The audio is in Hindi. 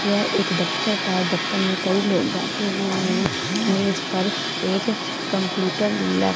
यह एक दफ्तर था दफ्तर मे कई लोग बैठे हुए है मेज पर एक कम्प्यूटर लप--